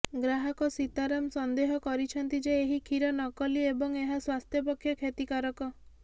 ଗ୍ରାହକ ସୀତାରମ ସନ୍ଦେହ କରିଛନ୍ତି ଯେ ଏହି କ୍ଷୀର ନକଲି ଏବଂ ଏହା ସ୍ୱାସ୍ଥ୍ୟ ପକ୍ଷେ କ୍ଷତିକାରକ